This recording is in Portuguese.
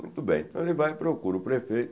Muito bem, então ele vai e procura o prefeito.